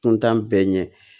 Kuntan bɛɛ ɲɛ